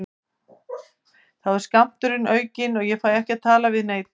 Þá er skammturinn aukinn og ég fæ ekki að tala við neinn.